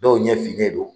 Dɔw ɲɛ finnen don